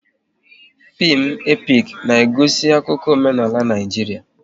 Fim epik na-egosi akụkọ omenala Naijiria